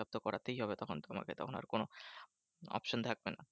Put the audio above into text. Checkup তো করাতেই হবে তখন। তোমাকে তখন আর কোনো option থাকবে না।